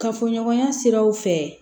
Kafoɲɔgɔnya siraw fɛ